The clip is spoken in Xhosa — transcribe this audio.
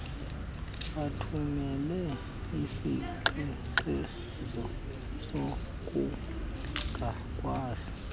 bathumele izingxengxezo zokungakwazi